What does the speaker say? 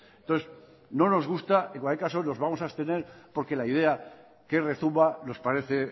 entonces no nos gusta en cualquier caso nos vamos a abstener porque la idea que rezuma nos parece